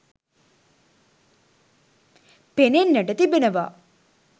පෙනෙන්නට තිබෙනවා.